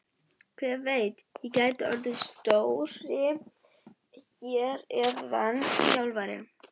Hver veit, ég gæti orðið stjóri hér eða þjálfari?